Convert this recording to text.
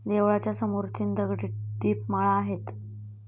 देवळाच्या समोर तीन दगडी दीपमाळा आहेत.